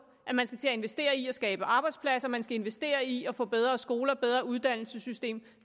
at man skal investere i at skabe arbejdspladser at man skal investere i at få bedre skoler et bedre uddannelsessystem